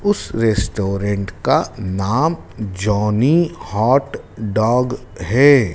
उस रेस्टोरेंट का नाम जॉनी हॉट डॉग है।